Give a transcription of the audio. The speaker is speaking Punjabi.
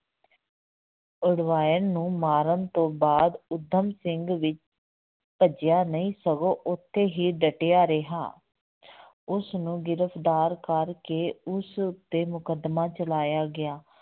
ਉਡਵਾਇਰ ਨੂੰ ਮਾਰਨ ਤੋਂ ਬਾਅਦ ਊਧਮ ਸਿੰਘ ਵੀ ਭੱਜਿਆ ਨਹੀਂ ਸਗੋਂ ਉੱਥੇ ਹੀ ਡਟਿਆ ਰਿਹਾ ਉਸਨੂੰ ਗ੍ਰਿਫ਼ਤਾਰ ਕਰਕੇ ਉਸ ਉੱਤੇ ਮੁਕੱਦਮਾ ਚਲਾਇਆ ਗਿਆ,